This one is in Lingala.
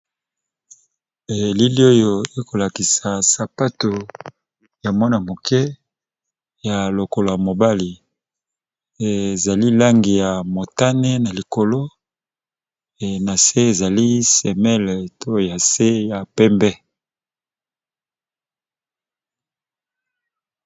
Elili oyo eza liboso nangai namoni ezo lakisa sapato ya mwana muke eza ya langi ya motane nase eza nalangi yapembe